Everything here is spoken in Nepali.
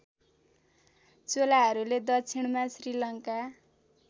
चोलाहरूले दक्षिणमा श्रीलङ्का